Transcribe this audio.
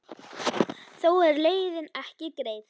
Þó er leiðin ekki greið.